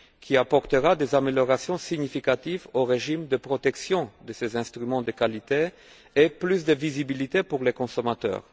Il apportera des améliorations significatives au régime de protection de ces instruments de qualité et créera plus de visibilité pour les consommateurs.